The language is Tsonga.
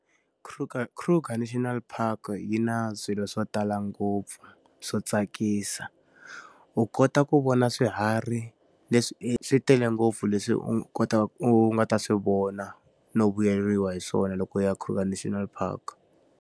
Kruger Kruger National Park yi na swilo swo tala ngopfu swo tsakisa. U kota ku vona swiharhi swi tele ngopfu leswi u u nga ta swi vona no vuyeriwa hi swona loko ya eKruger National Park.